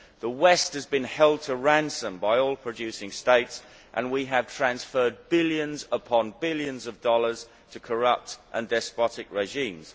The West has been held to ransom by oil producing states, and we have transferred billions upon billions of dollars to corrupt and despotic regimes.